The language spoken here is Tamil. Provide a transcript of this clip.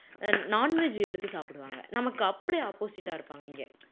non veg எடுத்து சாப்பிடுவாங்க நமக்கு அப்படியே opposite ஆ இருப்பாங்க இங்கே